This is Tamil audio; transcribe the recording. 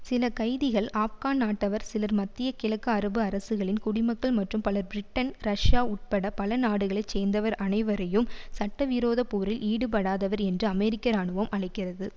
சில கைதிகள் ஆப்கான் நாட்டவர் சிலர் மத்திய கிழக்கு அரபு அரசுகளின் குடிமக்கள் மற்றும் பலர் பிரிட்டன் ரஷியா உட்பட பல நாடுகளை சேர்ந்தவர் அனைவரையும் சட்டவிரோத போரில் ஈடுபடாதவர் என்று அமெரிக்க இராணுவம் அழைக்கிறது